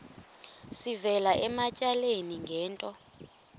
sivela ematyaleni ngento